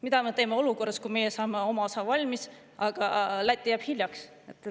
Mida me teeme olukorras, kus meie saame oma osa valmis, aga Läti jääb hiljaks?